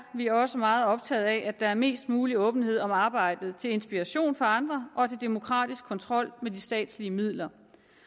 vi også meget optaget af at der er mest mulig åbenhed om arbejdet til inspiration for andre og til demokratisk kontrol med de statslige midler